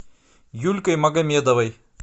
юлькой магомедовой